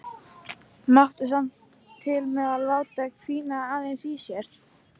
Mátti samt til með að láta hvína aðeins í sér.